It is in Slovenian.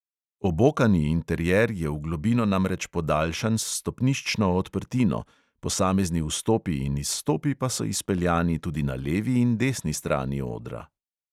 Obokani interier je v globino namreč podaljšan s stopniščno odprtino, posamezni vstopi in izstopi pa so izpeljani tudi na levi in desni strani odra.